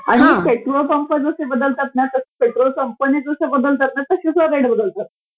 आणि petrol pump जसे बदलतात ना तसे पेट्रोल कंपनी जसे बदलतात तसे सुद्धा गाईड बदलतात